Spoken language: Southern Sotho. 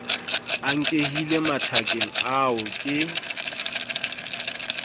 a nkehile mathakeng ao ke